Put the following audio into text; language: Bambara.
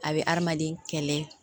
A bɛ hadamaden kɛlɛ